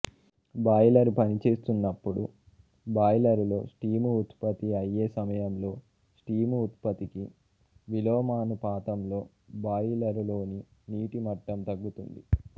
boiler పనిచేస్తున్నప్పుడు బాయిలరులో steam ఉత్పత్తి అయ్యేసమయంలోస్టీము ఉత్పత్తికి విలోమాను పాతంలో బాయిలరు లోని నీటి మట్టం తగ్గుతుంది